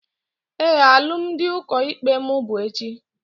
Éè, alụmdi ụkọ ikpe mụ bụ echi